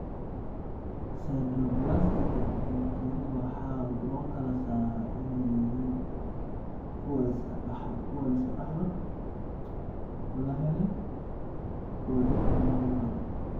Sideroblastika dig yari waxaa loo kala saaraa inay yihiin kuwo la iska dhaxlo, la helay, oo dib loo noqon karo.